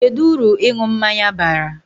Kedu uru ịṅụ mmanya bara?